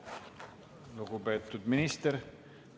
Aitäh, lugupeetud minister!